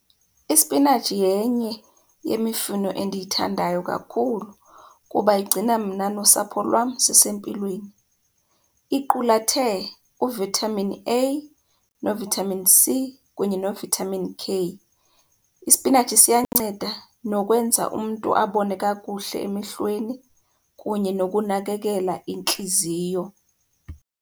Isipinatshi yenye yemifuno endiyithandayo kakhulu kuba igcina mna nosapho lwam sisempilweni. Iqulathe u-Vitamin A no-Vitamin C kunye no-Vitamin K. Ispinatshi siyanceda nokwenza umntu abone kakuhle emehlweni kunye nokunakekela intliziyo.